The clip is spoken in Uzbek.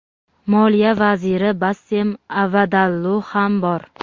Moliya vaziri Bassem Avadallu ham bor.